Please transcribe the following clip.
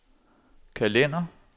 kalender